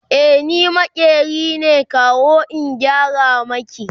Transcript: e ni maƙeri ne kawo in gyara maki